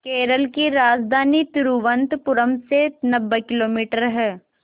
केरल की राजधानी तिरुवनंतपुरम से किलोमीटर है